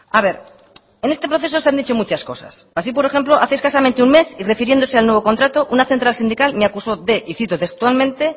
a ver en este proceso se han dicho muchas cosas así por ejemplo hace escasamente un mes y refiriéndose al nuevo contrato una central sindical me acusó de y cito textualmente